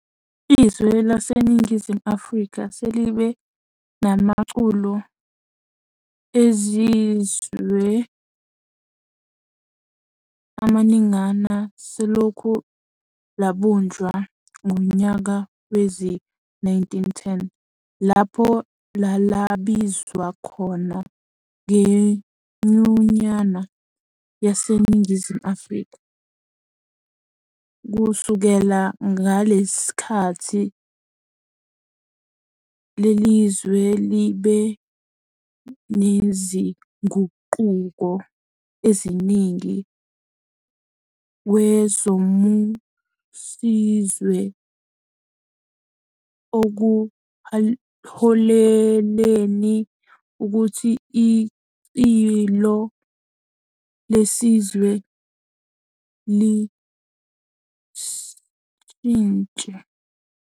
Izwe laseNingizimu Afrika selibe namaculo eziswe amaningana selokhu labunjwa ngonyaka wezi-1910 lapho lalabizwa khona ngeNyunyana yaseNingizimu Afrika. Kusukela ngalesi sikhathi lelizwe libe nezinguquko ezinigi kwezombuszwe okuholelein ukuthi icilo lesizwe lishintshe.